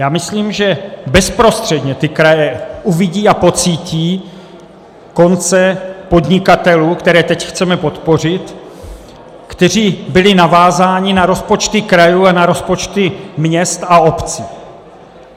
Já myslím, že bezprostředně ty kraje uvidí a pocítí konce podnikatelů, které teď chceme podpořit, kteří byli navázáni na rozpočty krajů a na rozpočty měst a obcí.